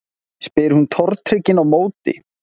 spyr hún tortryggin á móti.